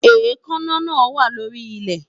Èékánná náà wà lórí ilẹ̀